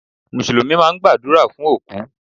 Mùsùlùmí máa ń gbàdúrà fún òkú.